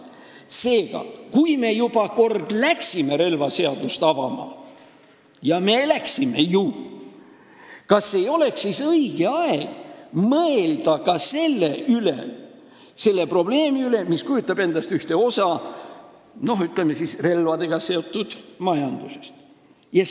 Seega, kui me juba kord läksime relvaseadust avama – ja me ju läksime –, siis kas ei oleks õige aeg mõelda ka selle probleemi üle, mis kujutab endast ühte osa relvadega seotud majandusest?